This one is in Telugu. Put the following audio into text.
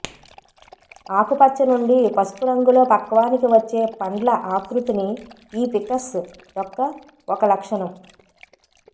ఆకుపచ్చ నుండి పసుపు రంగులో పక్వానికి వచ్చే పండ్ల ఆకృతిని ఈ ఫికస్ యొక్క ఒక లక్షణం